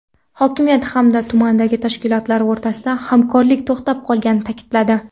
Hokimiyat hamda tumandagi tashkilotlar o‘rtasida hamkorlik to‘xtab qolganini ta’kidladi.